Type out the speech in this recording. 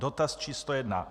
Dotaz číslo jedna.